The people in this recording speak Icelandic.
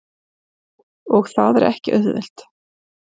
Og það er ekki auðvelt.